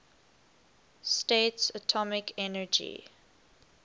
states atomic energy